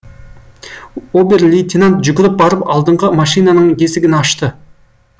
обер лейтенант жүгіріп барып алдыңғы машинаның есігін ашты